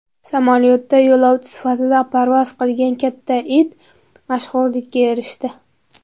Samolyotda yo‘lovchi sifatida parvoz qilgan katta it mashhurlikka erishdi .